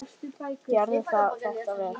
Gera þarf þetta vel.